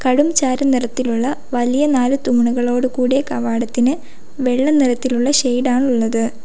കടുംചാരനിറത്തിലുള്ള വലിയ നാല് തൂണുകളോട് കൂടിയ കവാടത്തിന് വെള്ള നിറത്തിലുള്ള ഷെയ്ഡ് ആണുള്ളത്.